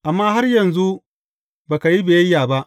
Amma har yanzu ba ka yi biyayya ba.